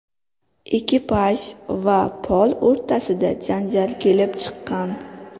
Ekipaj va Pol o‘rtasida janjal kelib chiqqan.